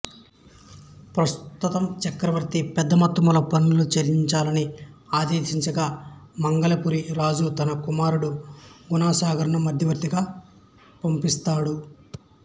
ప్రస్తుతం చక్రవర్తి పెద్ద మొత్తంలో పన్నులు చెల్లించాలని ఆదేశించగా మంగళపురి రాజు తన కుమారుడు గుణసాగరను మధ్యవర్తిగా పంపిస్తాడు